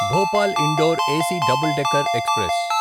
Bhopal Indore AC double decker express